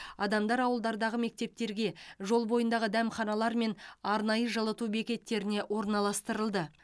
адамдар ауылдардағы мектептерге жол бойындағы дәмханалар мен арнайы жылыту бекеттеріне орналастырылды